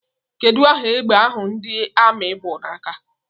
Kedụ aha égbè ahụ ndị Armi bụ n'aka?